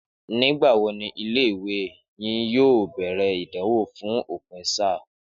Nígbà wo ni ilé ìwé yín yóò bèrè ìdánwò fún òpin sáà?